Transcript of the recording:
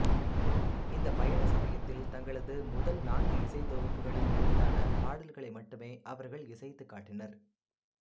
இந்த பயண சமயத்தில் தங்களது முதல் நான்கு இசைத்தொகுப்புகளில் இருந்தான பாடல்களை மட்டுமே அவர்கள் இசைத்துக் காட்டினர்